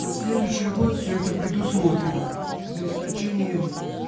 на следующий год всё это предусмотрено за исключением